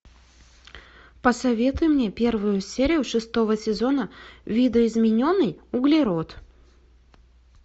посоветуй мне первую серию шестого сезона видоизмененный углерод